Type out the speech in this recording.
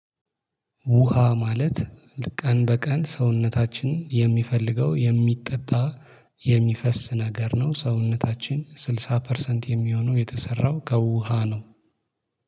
ውሃ ማለት ቀን በቀን ሰውነታችን የሚፈልገው የሚጠጣ የሚፈስ ነገር ነው። ሰውነታችን ስልሳ ፐርሰንት የሚሆነው የተሰራው ከውሃ ነው።